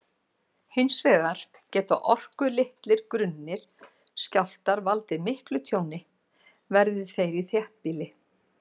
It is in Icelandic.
Hins vegar geta orkulitlir, grunnir skjálftar valdið miklu tjóni, verði þeir í þéttbýli.